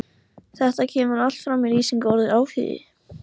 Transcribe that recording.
Þetta kemur allt fram í lýsingu orðsins áhugi: